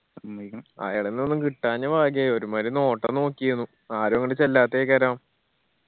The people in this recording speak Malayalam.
എന്നീക്കിന്ന് അയാളിന്ന് ഒന്നും കിട്ടാഞ്ഞ ഭാഗ്യായി ഒരു മായിരി നോട്ടം നൊക്കെയിരുന്നു ആരു അങ്ങട് ചെല്ലാത്തെ